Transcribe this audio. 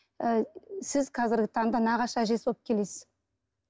ы сіз қазіргі таңда нағашы әжесі болып келесіз